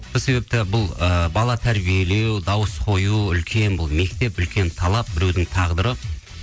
сол себепті бұл ыыы бала тәрбиелеу дауыс қою үлкен бұл мектеп үлкен талап біреудің тағдыры